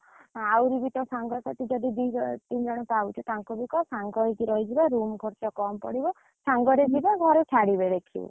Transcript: ଆହୁରି ବି ତୋ ସାଙ୍ଗସାଥି ଯଦି ଦି ଜଣ ତିନ ଜଣ ପାଉଛୁ ତାଙ୍କୁ ବି କହ ସାଙ୍ଗ ହେଇକି ରହିଯିବା room ଖରଚ କମ ପଡିବ, ସାଙ୍ଗରେ ଯିବ ଘରେ ଛାଡ଼ିବେ ଦେଖିବୁ।